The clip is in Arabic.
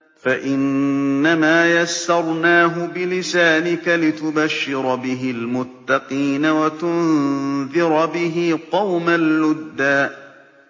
فَإِنَّمَا يَسَّرْنَاهُ بِلِسَانِكَ لِتُبَشِّرَ بِهِ الْمُتَّقِينَ وَتُنذِرَ بِهِ قَوْمًا لُّدًّا